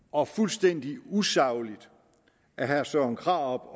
og fuldstændig usagligt af herre søren krarup